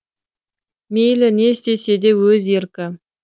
мейлі не істесе де өз еркі